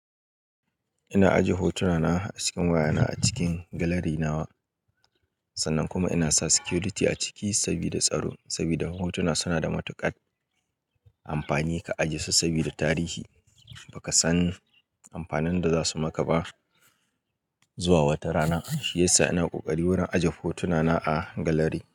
Ina ajiye hotuna na a cikin waya na a cikin gallery na wa, sannan kuma ina sa security a ciki sabida tsaro. Sabida hotuna suna da matuƙar amfani ka ajiye su sabida tarihi, ba ka san amfanin da za su maka ba zuwa wata rana. Shi yasa ina ƙoƙari wurin ajiye hotuna na a gallery.